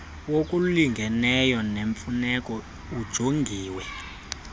wokulingeneyo nemfuneko ujongiwe